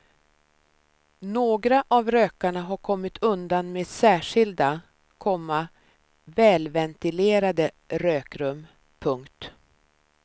Några av rökarna har kommit undan med särskilda, komma välventilerade rökrum. punkt